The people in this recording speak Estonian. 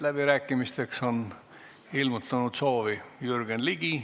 Läbirääkimisteks on ilmutanud soovi Jürgen Ligi.